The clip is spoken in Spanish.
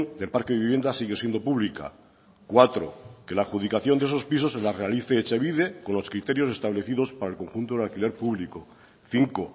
del parque de vivienda siga siendo pública cuatro que la adjudicación de esos pisos las realice etxebide con los criterios establecidos para el conjunto en alquiler público cinco